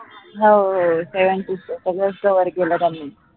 हो sevensisters सगळंच cover केलेलं मी